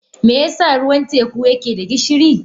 Me yasa ruwan teku yake da gishiri?